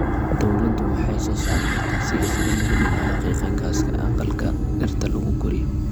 Dawladdu waxay soo saari kartaa siyaasado lagu dhimayo qiiqa gaaska aqalka dhirta lagu koriyo.